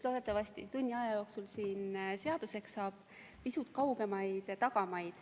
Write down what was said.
Loodetavasti saab see tunni aja jooksul siin seaduseks.